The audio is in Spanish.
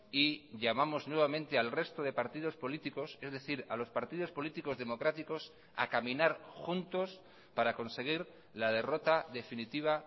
y llamamos nuevamente al resto de partidos políticos es decir a los partidos políticos democráticos a caminar juntos para conseguir la derrota definitiva